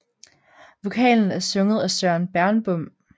Vokalen er sunget af Søren Bernbom